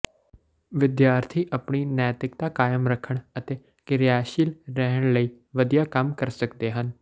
ਵਿਦਿਆਰਥੀ ਆਪਣੀ ਨੈਤਿਕਤਾ ਕਾਇਮ ਰੱਖਣ ਅਤੇ ਕਿਰਿਆਸ਼ੀਲ ਰਹਿਣ ਲਈ ਵਧੀਆ ਕੰਮ ਕਰ ਸਕਦੇ ਹਨ